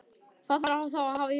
Hvað þarf að hafa í huga?